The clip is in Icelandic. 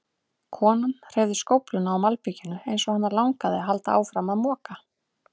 Konan hreyfði skófluna á malbikinu eins og hana langaði að halda áfram að moka.